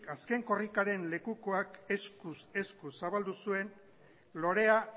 azken korrikaren lekukoak eskuz esku zabaldu zuen lorea